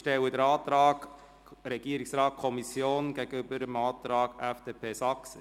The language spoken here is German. Ich stelle dem Antrag von Regierungsrat und FiKo den Antrag FDP/Saxer gegenüber.